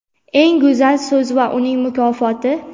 Eng go‘zal so‘z va uning mukofoti!.